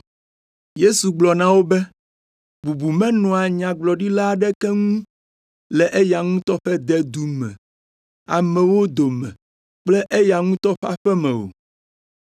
Yesu gblɔ na wo be, “Bubu menɔa nyagblɔɖila aɖeke ŋu le eya ŋutɔ ƒe dedu me, amewo dome kple eya ŋutɔ ƒe aƒe me o.”